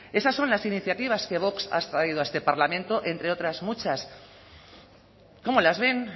esas son las iniciativas que vox ha traído a este parlamento entre otras muchas cómo las ven